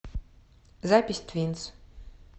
запись твинс